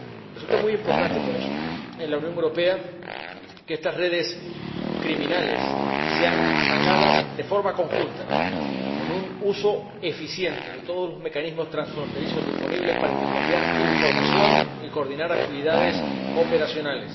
Resulta muy importante por eso, en la Unión Europea, que estas redes criminales sean atacadas de forma conjunta, con un uso eficiente de todos los mecanismos transfronterizos disponibles para intercambiar información y coordinar actividades operativas.